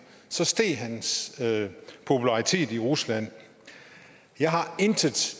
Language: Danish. så steg hans popularitet i rusland jeg har intet